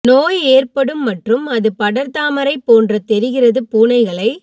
நோய் ஏற்படும் மற்றும் அது படர்தாமரை போன்ற தெரிகிறது பூனைகளை